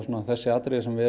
þessi atriði sem við